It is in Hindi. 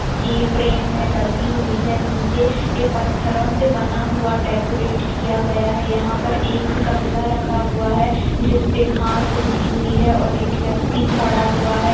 कि फ्रेम में लगी हुई है नीचे ये पत्थरों से बना हुआ डेकोरेट किया गया है यहाँ पर एक गमला रखा हुआ है जिसपे घास उगी हुई है और एक व्यक्ति खड़ा हुआ है।